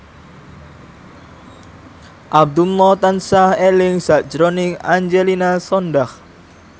Abdullah tansah eling sakjroning Angelina Sondakh